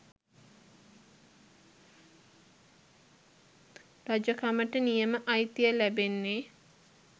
රජකමට නියම අයිතිය ලැබෙන්නේ